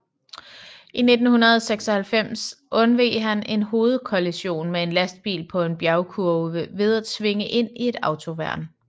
I 1996 undveg han en hovedkollision med en lastbil på en bjergkurve ved at svinge ind i et autoværn